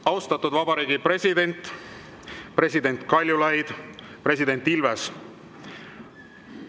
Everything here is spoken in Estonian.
Austatud vabariigi president, president Kaljulaid, president Ilves!